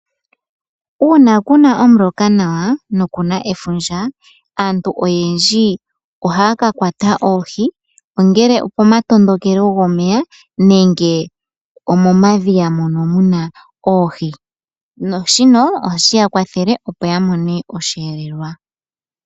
Uuna ku na omuloka nawa noku na efundja, aantu iyendji iha ya ka kwata oohi ongele opomatondokelo gomeya nenge omomadhiya mono mu na oohi, naashino ohashi ya kwathele opo ya mone osheelelwa.